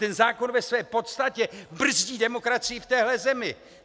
Ten zákon ve své podstatě brzdí demokracii v téhle zemi!